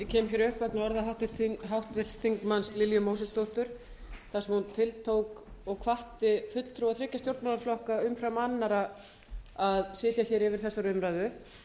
upp vegna orða háttvirts þingmanns lilju mósesdóttur þar sem hún tiltók og hvatti fulltrúa þriggja stjórnmálaflokka umfram annarra að sitja yfir þessari umræðu